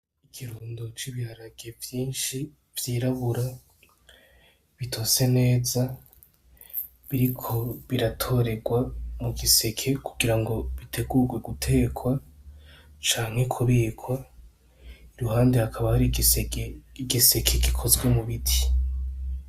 Ikirundo c'ibiharage vyishi vy'irabura bitize neza biriko biratorerwa mu giseke kugirango bitegurwe guteka canke ku bikwa iruhande hakaba hari igiseke gikozwe mu biti .